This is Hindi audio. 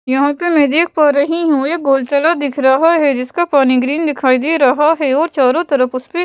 यहाँ पे मैं देख पा रही हूँ एक गोलतला दिख रहा है जिसका पानी ग्रीन दिखाई दे रहा है और चारों तरफ उसमें --